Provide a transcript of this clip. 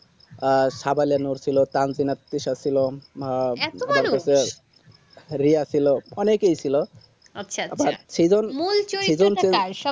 আর সাবেলানুর ছিল ক্রান্তিনাত তৃষা ছিল আহ রিয়া ছিল অনেকেই ছিল আচ্ছা আচ্ছা আবার সেই মন চৈত্তটা কার